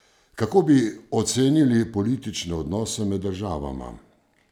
Kako bi ocenili politične odnose med državama?